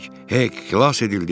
Heyk, xilas edildik!